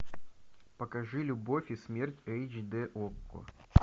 покажи любовь и смерть эйч д окко